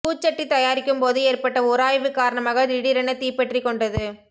பூச்சட்டி தயாரிக்கும்போது ஏற்பட்ட உராய்வு காரணமாக திடீரென தீப்பற்றிக் கொண்டது